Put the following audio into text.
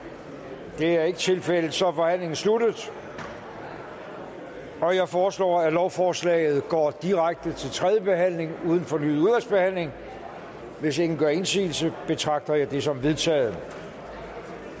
der er er ikke tilfældet og så er forhandlingen sluttet jeg foreslår at lovforslaget går direkte til tredje behandling uden fornyet udvalgsbehandling hvis ingen gør indsigelse betragter jeg det som vedtaget